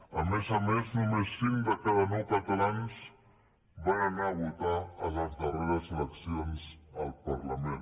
a més a més només cinc de cada nou catalans van a votar a les darreres eleccions al parlament